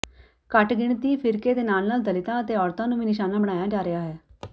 ਘੱਟਗਿਣਤੀ ਫ਼ਿਰਕੇ ਦੇ ਨਾਲ ਨਾਲ ਦਲਿਤਾਂ ਅਤੇ ਔਰਤਾਂ ਨੂੰ ਵੀ ਨਿਸ਼ਾਨਾ ਬਣਾਇਆ ਜਾ ਰਿਹਾ ਹੈ